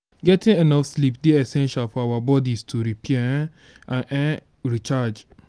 getting enough sleep dey essential for our bodies to repair um and um recharge.